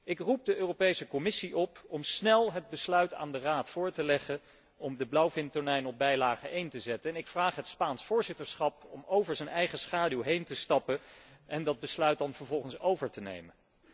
Ik roep de Europese Commissie op om snel het besluit aan de Raad voor te leggen om de blauwvintonijn op bijlage I te zetten en ik vraag het Spaans voorzitterschap om over zijn eigen schaduw heen te stappen en dat besluit dan vervolgens over te nemen.